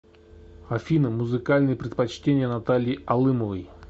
афина музыкальные предпочтения натальи алымовой